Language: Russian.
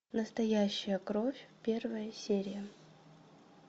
настоящая кровь первая серия